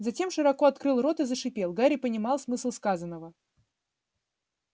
затем широко открыл рот и зашипел гарри понимал смысл сказанного